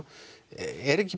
er ekki